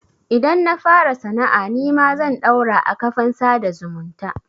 Idan na fara sana'a nima zan ɗaura a kafan sada zumunta.